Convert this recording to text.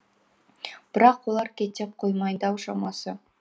бірақ олар кете қоймайды ау шамасы